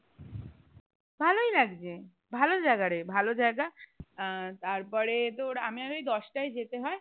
ভালোই লাগছে ভালো জায়গারে ভালো জায়গা আহ তার পরে তোর আমি আমি দশটায় যেতে হয়